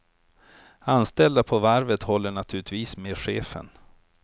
Anställda på varvet håller naturligtvis med chefen.